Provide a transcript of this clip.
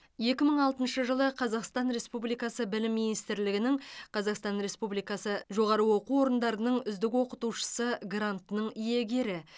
екі мың алтыншы жылы қазақстан республикасы білім министрлігінің қазақстан республикасы жоғары оқу орындары үздік оқытушысы грантының иегері